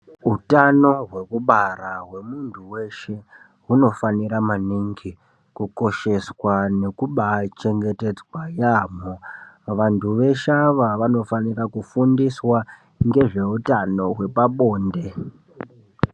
Utano hwekubara hwemuntu weshe hunofanira maningi kukosheswa nekubachengetedzwa Yaamho vantu veshe ava vanofanira kufundiswa ngezve utano hwepabonde.